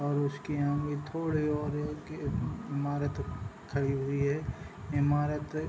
और उसके यहाँ भी थोड़े और है कि ईमारत खड़ी हुई हैं ईमारत --